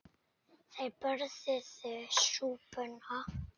Þeir borðuðu súpuna.